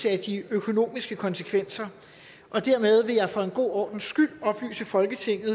af de økonomiske konsekvenser dermed vil jeg for en god ordens skyld oplyse folketinget